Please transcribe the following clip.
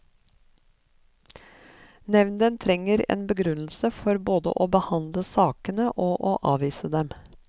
Nevnden trenger en begrunnelse for både å behandle sakene og å avvise dem.